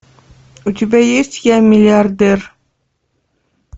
у тебя есть я миллиардер